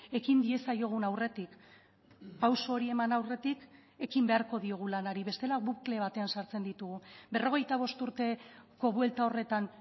ekin diezaiogun aurretik pausu hori eman aurretik ekin beharko diogu lanari bestela bukle batean sartzen ditugu berrogeita bost urteko buelta horretan